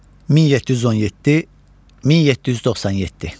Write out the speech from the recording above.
1717-1797.